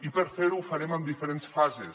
i per fer ho ho farem en diferents fases